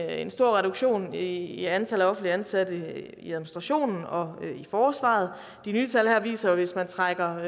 en stor reduktion i i antallet af offentligt ansatte i administrationen og i forsvaret de nye tal her viser jo at hvis man trækker